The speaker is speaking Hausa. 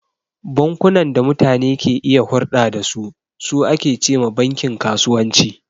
Bankunan da mutane ke iya hurɗa da su, su ake ce ma bankin kasuwanci..